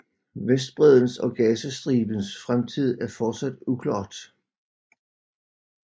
Vestbreddens og Gazastribens fremtid er fortsat uklart